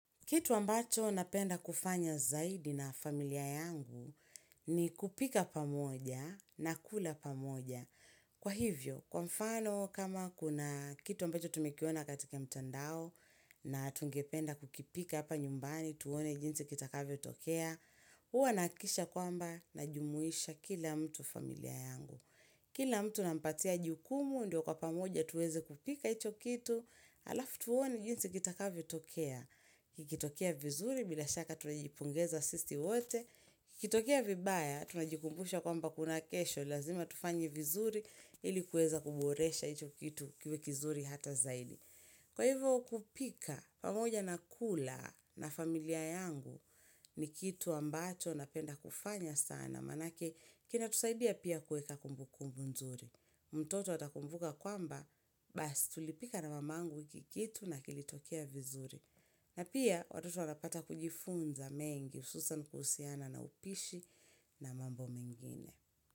Kitu ambacho napenda kufanya zaidi na familia yangu ni kupika pamoja na kula pamoja. Kwa hivyo, kwa mfano kama kuna kitu ambacho tumekiona katika mtandao na tungependa kukipika hapa nyumbani, tuone jinsi kitakavyotokea, huwa nahakikisha kwamba najumuisha kila mtu familia yangu. Kila mtu nampatia jukumu, ndio kwa pamoja tuweze kupika hicho kitu, alafu tuone jinsi kitakavyotokea, kikitokea vizuri bila shaka tunajipongeza sisi wote, kikitokea vibaya tunajikumbusha kwamba kuna kesho, lazima tufanye vizuri ili kuweza kuboresha hicho kitu kiwe kizuri hata zaidi. Kwa hivo kupika, pamoja na kula na familia yangu ni kitu ambacho napenda kufanya sana, manake kinatusaidia pia kuweka kumbukumbu nzuri. Mtoto atakumbuka kwamba, bas tulipika na mamangu hiki kitu na kilitokea vizuri. Na pia watoto wanapata kujifunza mengi, hususan kuhusiana na upishi na mambo mengine.